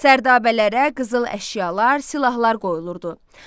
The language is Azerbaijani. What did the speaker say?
Sərdabələrə qızıl əşyalar, silahlar qoyulurdu.